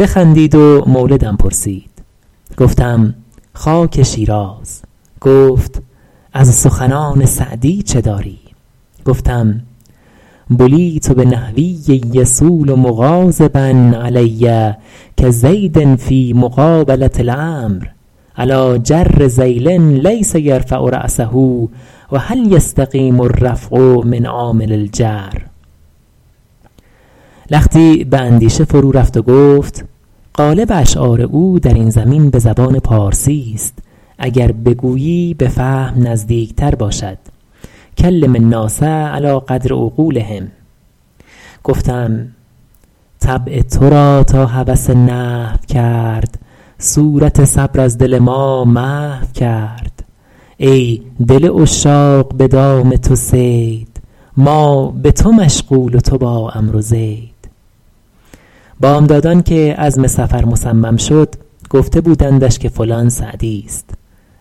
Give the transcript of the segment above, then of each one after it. بخندید و مولدم پرسید گفتم خاک شیراز گفت از سخنان سعدی چه داری گفتم بلیت بنحوی یصول مغاضبا علي کزید فیٖ مقابلة العمرو علیٰ جر ذیل لیس یرفع رأسه و هل یستقیم الرفع من عامل الجر لختی به اندیشه فرو رفت و گفت غالب اشعار او در این زمین به زبان پارسیست اگر بگویی به فهم نزدیک تر باشد کلم الناس علی قدر عقولهم گفتم طبع تو را تا هوس نحو کرد صورت صبر از دل ما محو کرد ای دل عشاق به دام تو صید ما به تو مشغول و تو با عمرو و زید بامدادان که عزم سفر مصمم شد گفته بودندش که فلان سعدیست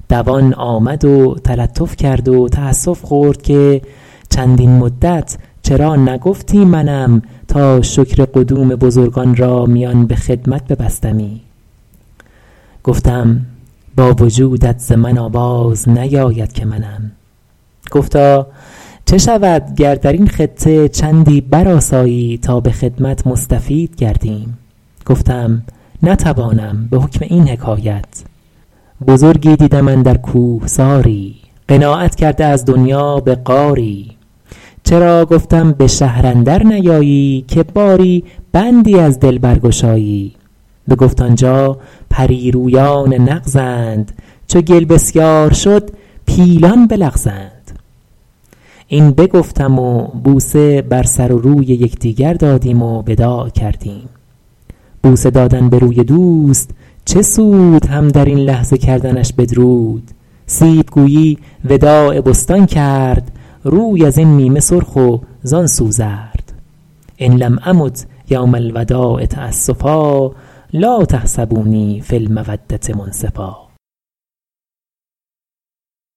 دوان آمد و تلطف کرد و تأسف خورد که چندین مدت چرا نگفتی منم تا شکر قدوم بزرگان را میان به خدمت ببستمی گفتم با وجودت ز من آواز نیاید که منم گفتا چه شود گر در این خطه چندی برآسایی تا به خدمت مستفید گردیم گفتم نتوانم به حکم این حکایت بزرگی دیدم اندر کوهساری قناعت کرده از دنیا به غاری چرا گفتم به شهر اندر نیایی که باری بندی از دل برگشایی بگفت آنجا پریرویان نغزند چو گل بسیار شد پیلان بلغزند این بگفتم و بوسه بر سر و روی یکدیگر دادیم و وداع کردیم بوسه دادن به روی دوست چه سود هم در این لحظه کردنش بدرود سیب گویی وداع بستان کرد روی از این نیمه سرخ و زآن سو زرد إن لم أمت یوم الوداع تأسفا لا تحسبوني في المودة منصفا